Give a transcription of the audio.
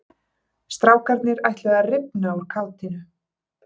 Strákarnir ætluðu að rifna úr kátínu.